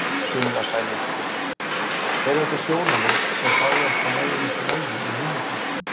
Sunna Sæmundsdóttir: Eru þetta sjónarmið sem að fá ekki nægilegt vægi í hinum flokkunum?